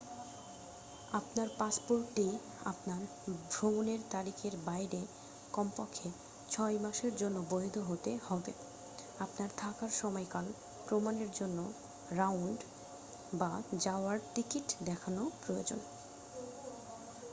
আপনার পাসপোর্টটি আপনার ভ্রমণের তারিখের বাইরে কমপক্ষে 6 মাসের জন্য বৈধ হতে হবে। আপনার থাকার সময়কাল প্রমানের জন্য রাউন্ড/যাওয়ার টিকিট দেখানো প্রয়োজন।